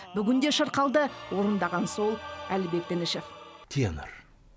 бүгін де шырқалды орындаған сол әлібек дінішев тенор